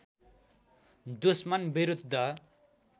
दुस्मन विरुद्ध